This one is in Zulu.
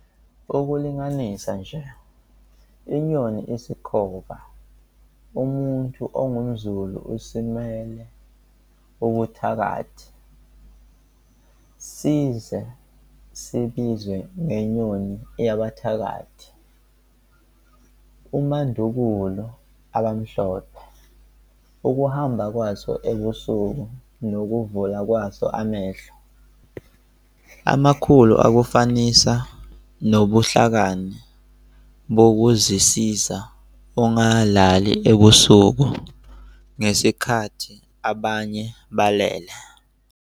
Ukulinganisa nje, inyoni isikhova, kumuntu ongumZulu simele ubuthakathi, size sibizwe ngenyoni yabathakathi, umandukulu. AbaMhlophe ukuhamba kwaso ebusuku nokuvula kwaso amehlo amakhulu akufanisa nobuhlakani bokuzisiza ungalali ebusuku ngesikhathi abanye belele.